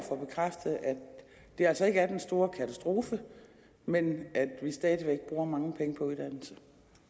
det altså ikke er den store katastrofe men at vi stadig væk bruger mange penge på uddannelse